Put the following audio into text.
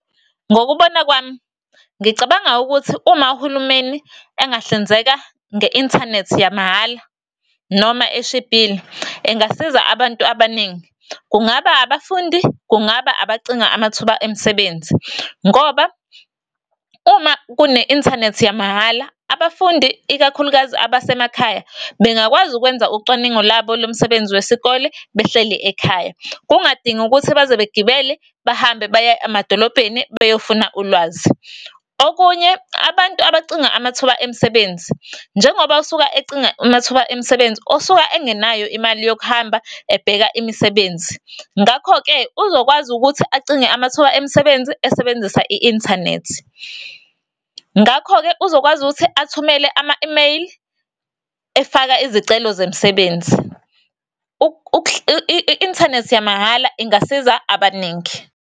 Ngokubona kwami, ngicabanga ukuthi uma uhulumeni engahlinzeka nge-inthanethi yamahhala, noma eshibhile, engasiza abantu abaningi. Kungaba abafundi, kungaba abacinga amathuba emisebenzi. Ngoba, uma kune-inthanethi yamahhala, abafundi ikakhulukazi abasemakhaya, bengakwazi ukwenza ucwaningo labo lomsebenzi wesikole behleli ekhaya, kungadingi ukuthi baze begibele bahambe baye emadolobheni beyofuna ulwazi. Okunye, abantu abacinga amathuba emisebenzi, njengoba usuka ecinga amathuba emisebenzi, usuka engenayo imali yokuhamba ebheka imisebenzi. Ngakho-ke, uzokwazi ukuthi acinge amathuba emisebenzi esebenzisa i-inthanethi. Ngakho-ke, uzokwazi ukuthi athumele ama-imeyili, efaka izicelo zemsebenzi. I-inthanethi yamahhala ingasiza abaningi.